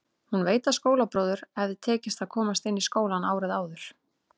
Hún veit að skólabróður hafði tekist að komast inn í skólann árið áður.